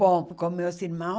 Bom, com meus irmãos...